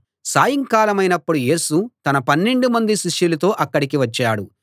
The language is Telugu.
సాయంకాలం యేసు తన పన్నెండు మంది శిష్యులతో అక్కడికి వచ్చాడు